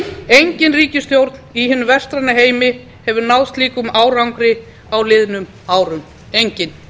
engin ríkisstjórn í hinum vestræna heimi hefur náð slíkum árangri á liðnum árum engin